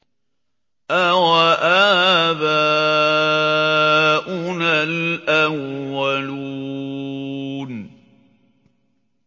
أَوَآبَاؤُنَا الْأَوَّلُونَ